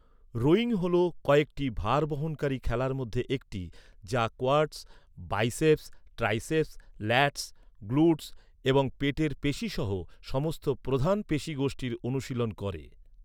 Rowing হল কয়েকটি ভারবহনকারী খেলার মধ্যে একটি, যা quads, biceps, triceps, lats, glutes এবং পেটের পেশী সহ সমস্ত প্রধান পেশী গোষ্ঠীর অনুশীলন করে।